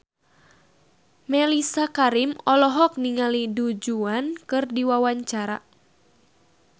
Mellisa Karim olohok ningali Du Juan keur diwawancara